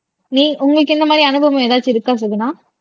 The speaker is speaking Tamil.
நீ உங்களுக்கு இந்த மாரி அனுபவம் எதாச்சும் இருக்கா சுகுணா